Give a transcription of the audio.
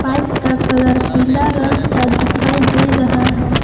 Pipe का colour पीला रंग का दिखाई दे रहा है।